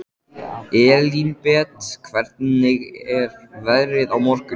Elínbet, hvernig er veðrið á morgun?